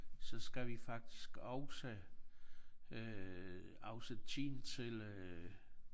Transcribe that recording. Så skal vi faktisk også øh afsætte tiden til øh